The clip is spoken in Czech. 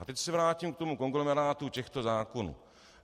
A teď se vrátím k tomu konglomerátu těchto zákonů.